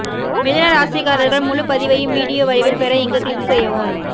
மிதுன ராசிக்காரர்கள் முழுபதிவையும் வீடியோ வடிவில் பெற இங்கு க்ளிக் செய்யவும்